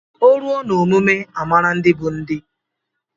O ruo na omume amara ndị bụ ndị.